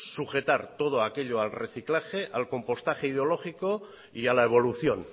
sujetar todo aquellos al reciclaje al compostaje ideológico y a la evolución